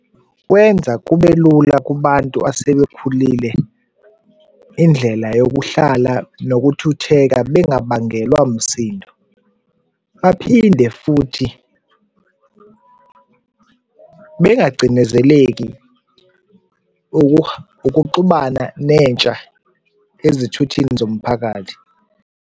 Kwenza kubelula kubantu asebekhulile indlela yokuhlala nokuthutheka bengabangelwa msindo, baphinde futhi bengacindezeleki ukuxubana nentsha ezithuthini zomphakathi.